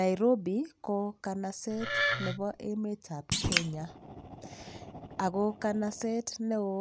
Nairobi ko kanaset nebo emetab Kenya ako kanaset neo